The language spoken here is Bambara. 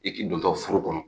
I k'i dontɔ furu kɔnɔ